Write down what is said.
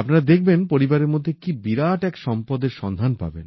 আপনারা দেখবেন পরিবারের মধ্যে কি বিরাট এক সম্পদের সন্ধান পাবেন